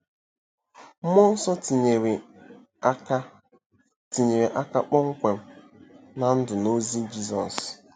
Mmụọ nsọ tinyere aka tinyere aka kpọmkwem ná ndụ na ozi Jizọs.